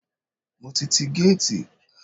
Mo ti tí géètì.